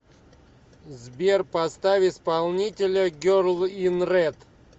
сбер поставь исполнителя герл ин ред